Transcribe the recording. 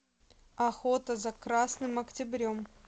охота за красным октябрем